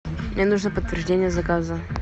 мне нужно подтверждение заказа